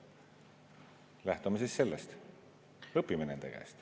Lähtume siis sellest, õpime nende käest.